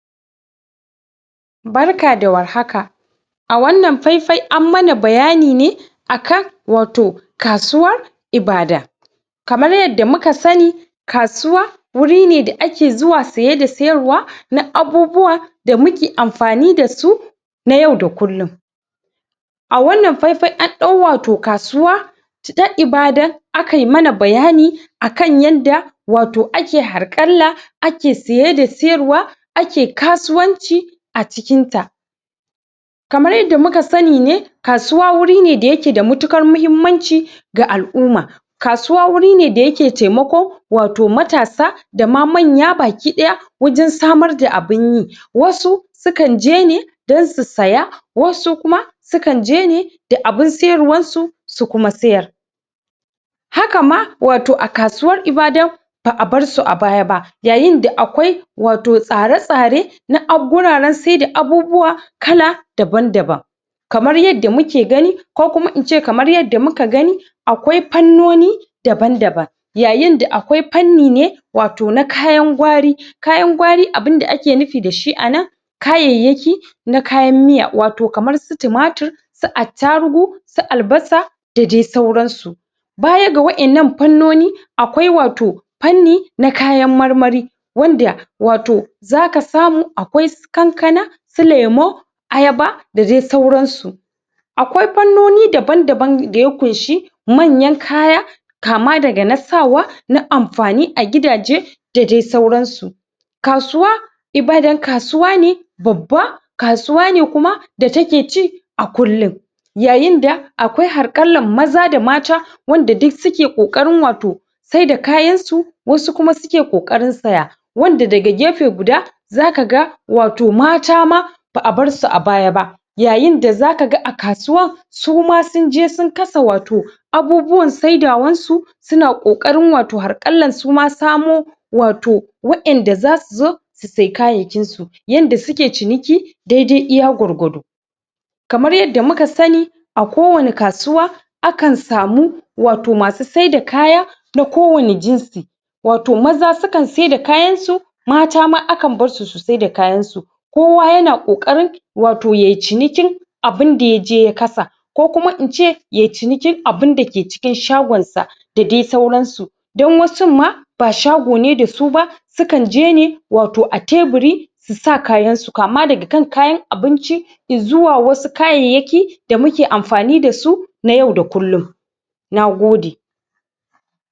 Barka da warhaka a wannan fai-fai an mana bayani ne akan wato kasuwan Ibadan kamar yadda muka sani kasuwa wuri ne daake zuwa saye da sayarwa na abubuwa da muke amfani da su na yau da kullun a wannan fai-fai an ɗau wato kasuwa ta Ibdan a kai mana bayani akan yadda wato ake harƙalla ake saye da sayarwa ake kasuwanci a cikin ta, kamar yadda muka sani ne kasuwa wuri ne da yake da matuƙar muhimmanci ga alumma kasuwa wuri ne da yake taimako wato matasa da ma manya baki daya wajen samar da abun yi wasu sukan je ne don su saya wasu kuma sukan je ne da abun sayarwar su su kuma sayar. haka ma wato a kasuwar Ibadan ba a bar su a baya aba yayin da akwai wato tsare-tsare na guraren saida abubuwa kala daban-daban kamar yadda muke gani ko kuma ince kamar yadda muka gani akwai fannoni daban-daban yayin da akwai fanni ne wato na kayan gwari kayan gwari abun da ake nufi da shi a nan kayayyaki na kayan miya wato kamar su tumatur su attarugu su albasa da dai sauran su baya ga waɗannan fanoni akwai wato fanni na kayan marmari wanda wato za ka samu akwai su kankana su lemu ayaba da dai sauran su, akwai fannoni daban-dana da ya ƙunshi manyan kaya kama daga na sawa na amfani a gidaje da dai sauran su, kasuwa Ibadan kasuwa ne babba kasuwa ne kuma da take cin a kullun yayin da akwai harƙallan maza da mata wanda suk suke ƙoƙarn wato sai da kayan su wasu kuma suke ƙoƙarin saya wanda daga gefe guda za ka ga wato mata ma ba a bar su a baya ba yayin da za ka ga a kasuwa suma sun je sun kasa wato abubuwan saidawan su suna ƙoƙarin wato harƙallan suma samo wato waɗanda za su zo su sai kayayyakin su yanda suke ciniki dai-dai iya gwargwado kamar yadda muka sani a kowani kasuwa akan samu wato masu saida kaya na ko wani jinsi wato maza su kan saida kayan su mata ma akan bar su su saida kayan su kowa yana ƙoƙarin wato yai cinikin abun da yaje ya kasa ko kuma in ce yai cinikin abun da ke cikin shagon sa da dai sauran su, don wasun ma ba shago ne da su ba sukan je ne wato a teburi su sa kayan su, kama daga kan kayan abinci izuwa wasu kayayyaki da muke amfani dasu na yau da kullun nagode.